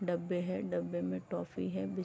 डब्बे है डब्बे में टॉफी है बिस --